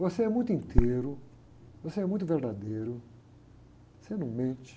Você é muito inteiro, você é muito verdadeiro, você não mente.